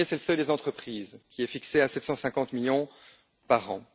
Le premier, c'est le seuil des entreprises, qui est fixé à 750 millions par an.